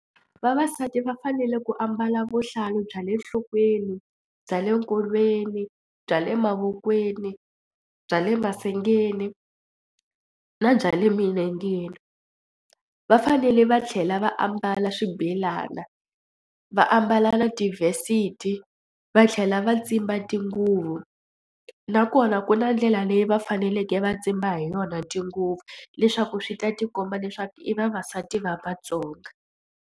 Vavasati va fanele ku ambala vuhlalu bya le nhlokweni, bya le nkolweni, bya le mavokweni, bya le masengeni na bya le milengeni. Va fanele va tlhela va ambala swibelani va ambala na tivesiti va tlhela va tsimba tinguvu nakona ku na ndlela leyi va faneleke va tsimba hi yona tinguvu leswaku swi ta tikomba leswaku i vavasati va Vatsonga.